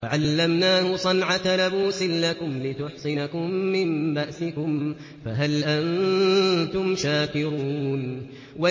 وَعَلَّمْنَاهُ صَنْعَةَ لَبُوسٍ لَّكُمْ لِتُحْصِنَكُم مِّن بَأْسِكُمْ ۖ فَهَلْ أَنتُمْ شَاكِرُونَ